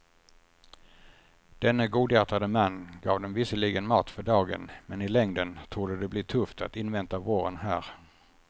Denne godhjärtade man gav dem visserligen mat för dagen men i längden torde det bli tufft att invänta våren här.